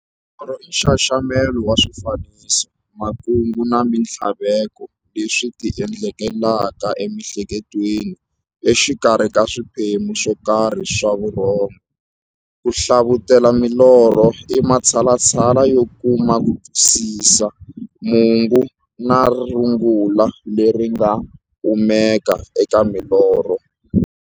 Norho i nxaxamelo wa swifaniso, makungu na minthlaveko leswi ti endlekelaka emiEhleketweni exikarhi ka swiphemu swokarhi swa vurhongo. Ku hlavutela milorho i matshalatshala yo kuma kutwisisa mungo na rungula leri nga kumekaka eka milorho.